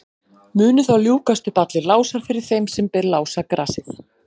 munu þá ljúkast upp allir lásar fyrir þeim sem ber lásagrasið